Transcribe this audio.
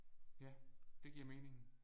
Ja det giver mening